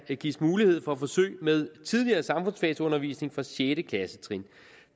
gives mulighed for forsøg med tidligere samfundsfagsundervisning altså fra sjette klassetrin